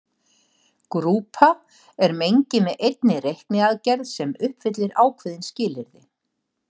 Grúpa er mengi með einni reikniaðgerð sem uppfyllir ákveðin skilyrði.